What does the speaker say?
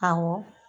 Awɔ